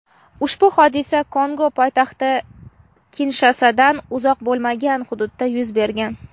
ushbu hodisa Kongo poytaxti Kinshasadan uncha uzoq bo‘lmagan hududda yuz bergan.